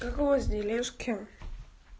как у вас делишки